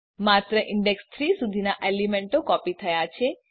માત્ર ઇંડેક્ષ ૩ સુધીનાં એલીમેન્તો કોપી થયા છે